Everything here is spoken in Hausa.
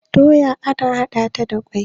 doya ana hada ta da kwai